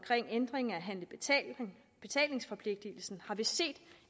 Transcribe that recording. ændring af betalingsforpligtelsen har vi set